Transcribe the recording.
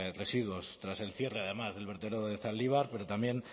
residuos tras el cierre además del vertedero de zaldibar pero también